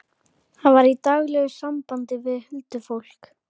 Hann var í daglegu sambandi við huldufólk.